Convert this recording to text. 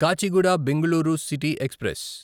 Kachiguda Bengaluru city express